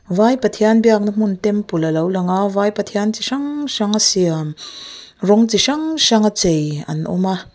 vai pathian biakna hmun temple a lo lang a lvai pathian chi hrang hrang a siam rawng chi hrang hrang a chei an awm a.